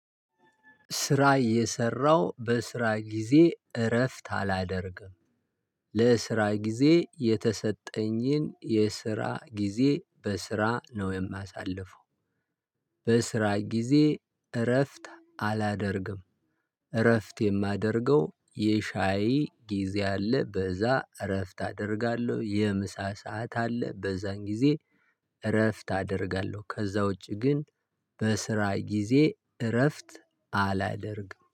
ስራ የሰራው በስራ ጊዜ እረፍት አላደርግም። ለስራ ጊዜ የተሰጠኝን የስራ ጊዜ በስራ ነው የማሳልፈው በስራ ጊዜ እረፍት አላደርግም። እረፍት የማደርገው የሻይ ጊዜ አለ በዛ እረፍት አደርጋለሁ የምሳ ሰዓት አለ በዛን ጊዜ እረፍት አደርጋለሁ። ከዛ ውጪ ግን በስራ ጊዜ እረፍት አላደርግም።